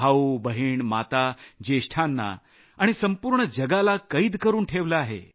भाऊ बहिणी माता ज्येष्ठांना कोरोना विषाणुनं जगाला कैद करून ठेवलं आहे